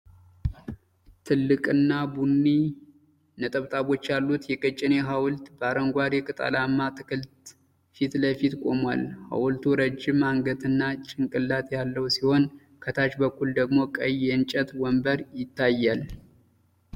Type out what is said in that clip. ትልቅና ቡኒ ነጠብጣቦች ያሉት የቀጭኔ ሐውልት በአረንጓዴ ቅጠላማ ተክል ፊት ለፊት ቆሟል። ሐውልቱ ረጅም አንገትና ጭንቅላት ያለው ሲሆን፣ ከታች በኩል ደግሞ ቀይ የእንጨት ወንበር ይታያል።